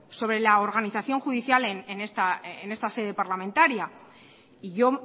sobre la organización judicial en esta sede parlamentaria y yo